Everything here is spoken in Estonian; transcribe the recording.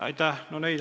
Aitäh!